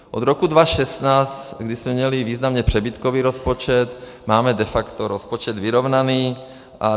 Od roku 2016, kdy jsme měli významně přebytkový rozpočet, máme de facto rozpočet vyrovnaný.